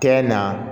Kɛ na